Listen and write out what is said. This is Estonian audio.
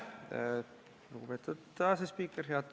Lugupeetud asespiiker!